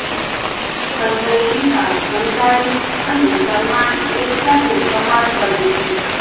સંજય લીલા ભણશાળી અને સલમાન એક સાથે કમાલ કરે છે